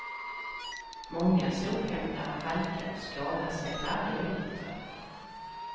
Många sophämtare halkar och skadar sig varje vinter.